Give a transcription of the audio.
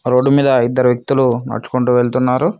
Road మీద ఇద్దరు వ్యక్తులు నడుచుకుంటూ వెళ్తున్నారు.